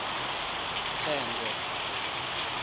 thengwe